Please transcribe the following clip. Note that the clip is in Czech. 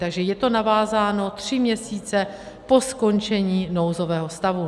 Takže je to navázáno tři měsíce po skončení nouzového stavu.